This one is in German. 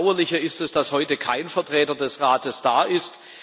Umso bedauerlicher ist es, dass heute kein Vertreter des Rates da ist.